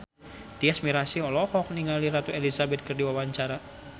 Tyas Mirasih olohok ningali Ratu Elizabeth keur diwawancara